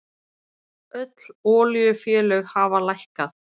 Öll olíufélög hafa lækkað